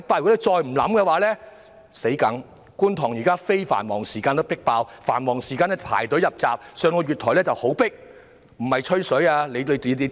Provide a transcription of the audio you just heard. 現時觀塘站在非繁忙時間已經"迫爆"，繁忙時間更要排隊入閘，而月台更是非常擠迫。